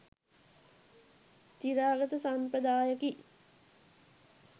චිරාගත සම්ප්‍රදායකි.